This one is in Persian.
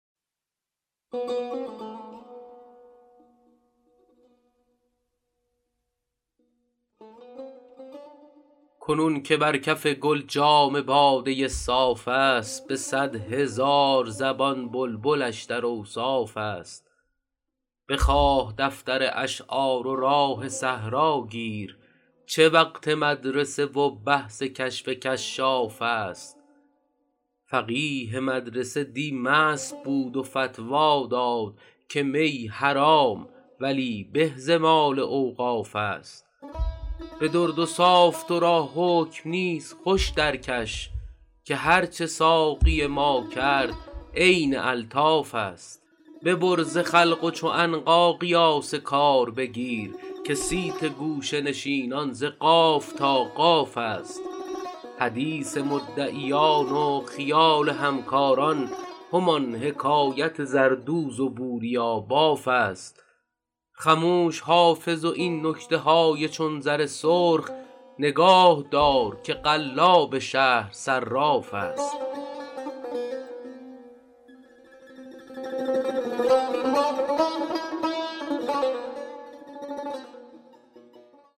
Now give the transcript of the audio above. کنون که بر کف گل جام باده صاف است به صد هزار زبان بلبلش در اوصاف است بخواه دفتر اشعار و راه صحرا گیر چه وقت مدرسه و بحث کشف کشاف است فقیه مدرسه دی مست بود و فتوی داد که می حرام ولی به ز مال اوقاف است به درد و صاف تو را حکم نیست خوش درکش که هرچه ساقی ما کرد عین الطاف است ببر ز خلق و چو عنقا قیاس کار بگیر که صیت گوشه نشینان ز قاف تا قاف است حدیث مدعیان و خیال همکاران همان حکایت زردوز و بوریاباف است خموش حافظ و این نکته های چون زر سرخ نگاه دار که قلاب شهر صراف است